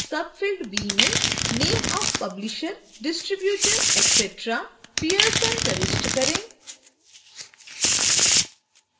field b में name of publisher distributor etc pearson प्रविष्ट करें